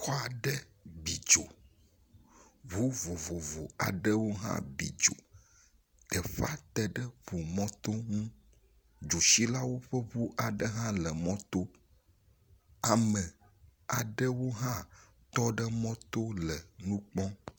Xɔ aɖe bi dzo. Ŋu vovovo aɖewo hã bi dzi. Teƒea teŋe ŋumɔto ŋu. Dzotsilawo ƒe ŋu ae hã le mɔto. Ame aɖewo hã tɔ ɖe mɔto le nu kpɔm.